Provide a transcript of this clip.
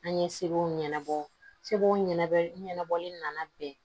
An ye seko ɲɛnabɔ sebow ɲɛnabɔ ɲɛnabɔli nana bɛn